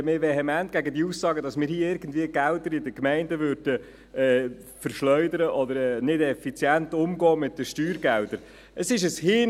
Ich verwehre mich vehement gegen die Aussagen, dass wir hier irgendwie Gelder in den Gemeinden verschleudern oder nicht effizient mit den Steuergeldern umgehen.